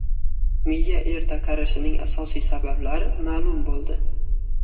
Miya erta qarishining asosiy sabablari ma’lum bo‘ldi.